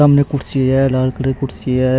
सामने कुर्सी है लाल कलर की कुर्सी है।